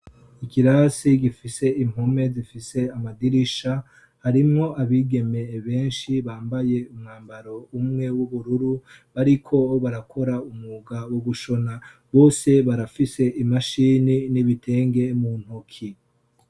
Ikirasi gifise impome zifise amadirisha, harimwo abigeme benshi bambaye umwambaro umwe w'ubururu bariko barakora umwuga wo gushona, bose barafise imashine n'ibitenge mu ntoki.